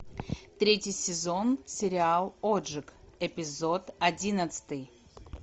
третий сезон сериал отжиг эпизод одиннадцатый